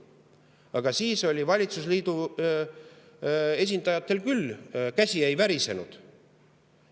Aga siis valitsusliidu esindajatel küll käsi ei värisenud.